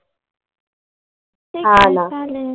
हा ना.